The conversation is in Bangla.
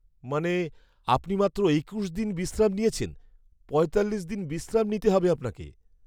মানে আপনি মাত্র একুশ দিন বিশ্রাম নিয়েছেন? পঁয়তাল্লিশ দিন বিশ্রাম নিতে হবে আপনাকে।